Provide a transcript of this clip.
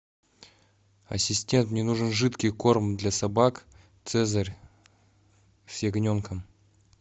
ассистент мне нужен жидкий корм для собак цезарь с ягненком